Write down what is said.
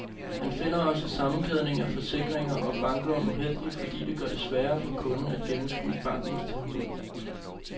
Han finder også sammenkædningen af forsikringer og banklån uheldig, fordi det gør det sværere for kunden at gennemskue bankens tilbud.